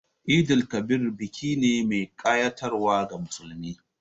Eid_el Kabir biki ne mai kayatarwa ga musulmi.